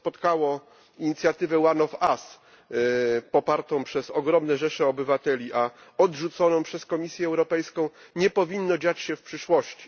To, co spotkało inicjatywę One of Us popartą przez ogromne rzesze obywateli, a odrzuconą przez Komisję Europejską nie powinno dziać się w przyszłości.